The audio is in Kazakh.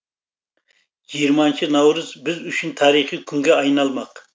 жиырманыншы наурыз біз үшін тарихи күнге айналмақ